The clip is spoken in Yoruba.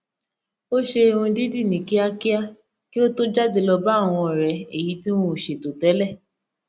ó ṣe irun dídì ní kíákíá kí ó tó jáde lọ bá àwọn ọrẹ èyí tí wọn o sètò tẹlẹ